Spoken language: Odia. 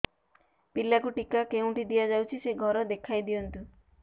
ପିଲାକୁ ଟିକା କେଉଁଠି ଦିଆଯାଉଛି ସେ ଘର ଦେଖାଇ ଦିଅନ୍ତୁ